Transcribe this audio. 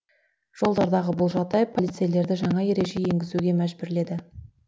жолдардағы бұл жағдай полицейлерді жаңа ереже енгізуге мәжбүрледі